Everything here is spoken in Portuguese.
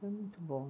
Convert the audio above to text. Foi muito bom.